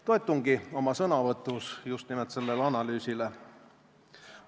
Toetungi oma sõnavõtus just nimelt sellele analüüsile.